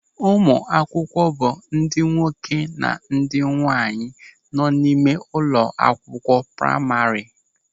Ụmụ akwụkwọ bụ ndị nwoke na ndị nwaanyị nọ n'ime ụlọakwụkwọ praima.